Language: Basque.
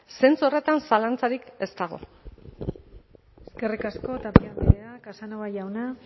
zentzu horretan zalantzarik ez dago eskerrik asko tapia andrea casanova jauna